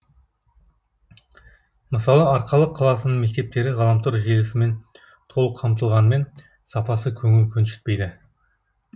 мысалы арқалық қаласының мектептері ғаламтор желісімен толық қамтылғанымен сапасы көңіл көншіптейді